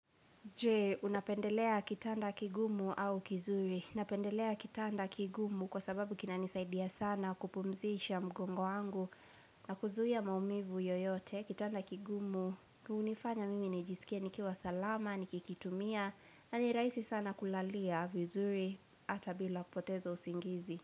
Je, unapendelea kitanda kigumu au kizuri. Napendelea kitanda kigumu kwa sababu kinanisaidia sana kupumzisha mgongo wangu na kuzuia maumivu yoyote. Kitanda kigumu, hunifanya mimi nijisikie nikiwa salama, nikikitumia, na ni rahisi sana kulalia vizuri ata bila kupoteza usingizi.